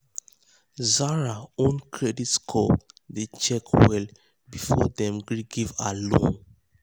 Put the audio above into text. zara own credit score dem check well before dem gree give her loan.